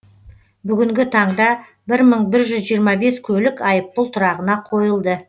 бүгінгі таңда бір мың бір жүз жиырма бес көлік айыппұл тұрағына қойылды